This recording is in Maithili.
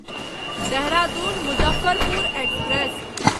देहरादून मुजफ्फरपुर एक्सप्रेस